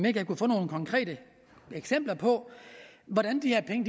ikke kunne få nogle konkrete eksempler på hvordan de her penge